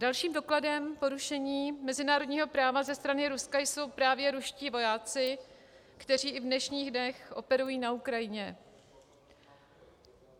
Dalším dokladem porušení mezinárodního práva ze strany Ruska jsou právě ruští vojáci, kteří i v dnešních dnech operují na Ukrajině.